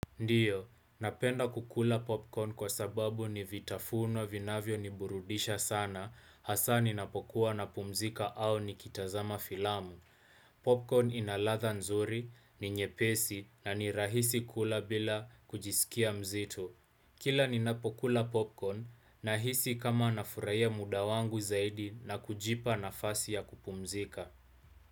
Ndiyo, napenda kukula popcorn kwa sababu ni vitafuno vinavyo niburudisha sana hasa ninapokuwa napumzika au nikitazama filamu. Popcorn ina ladha nzuri ni nyepesi na ni rahisi kula bila kujisikia mzito. Kila ninapokula popcorn nahisi kama nafurahia muda wangu zaidi na kujipa nafasi ya kupumzika.